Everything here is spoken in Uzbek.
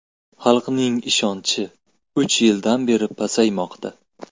Xalqning ishonchi uch yildan beri pasaymoqda.